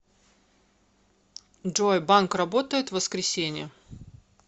джой банк работает в воскресенье